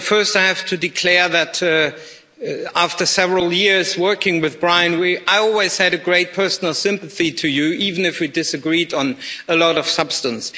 First, I have to declare that after several years working with you, Brian, I have always had a great personal sympathy for you, even if we disagreed on a lot of substance.